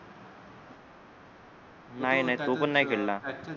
नाही नाही तो पण नाही खेळला